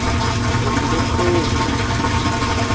re pelokgolo ya bogoja e